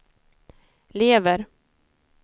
lever